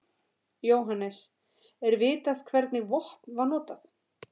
Jóhannes: Er vitað hvernig vopn var notað?